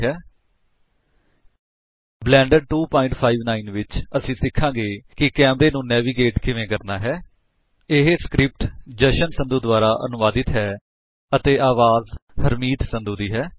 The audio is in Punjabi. ਬਲੈਂਡਰ 259 ਵਿਚ ਅਸੀ ਸਿਖਾਗੇ ਕਿ ਕੈਮਰੇ ਨੂੰ ਨੈਵੀਗੇਟ ਕਿਵੇਂ ਕਰਨਾ ਹੈ ਇਹ ਸਕ੍ਰਿਪਟ ਜਸ਼ਨ ਸੰਧੂ ਦੁਆਰਾ ਅਨੁਵਾਦਿਤ ਹੈ ਅਤੇ ਅਵਾਜ ਹਰਮੀਤ ਸੰਧੂ ਨੇ ਦਿੱਤੀ ਹੈ